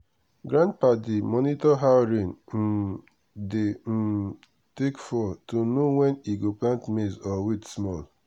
grandpa dey monitor how rain um dey um take fall to know when e go plant maize or wait small.